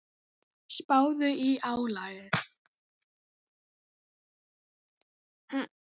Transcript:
Spáðu í álagið.